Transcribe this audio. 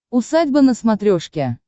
усадьба на смотрешке